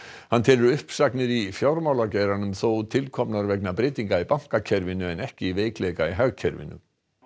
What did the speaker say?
hann telur uppsagnir í fjármálageiranum þó til komnar vegna breytinga í bankakerfinu en ekki veikleika í hagkerfinu